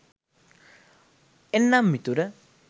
එන්නම් මිතුර